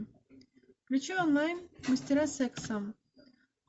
включи онлайн мастера секса